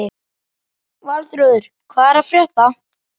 Valþrúður, hvað er að frétta?